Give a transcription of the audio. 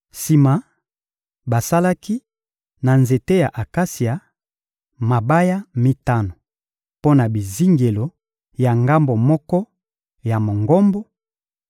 Sima, basalaki, na nzete ya akasia, mabaya mitano mpo na bizingelo ya ngambo moko ya Mongombo,